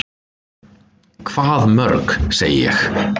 """Hvað mörg, segi ég."""